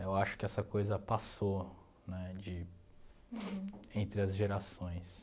Eu acho que essa coisa passou, né de... entre as gerações.